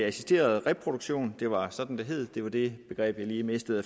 assisteret reproduktion det var sådan det hed det var det begreb jeg mistede